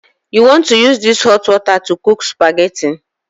You want to use this hot water to cook Spaghetti?